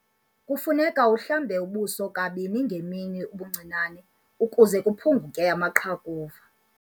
Kufuneka uhlambe ubuso kabini ngemini ubuncinane ukuze kuphunguke amaqhakuva.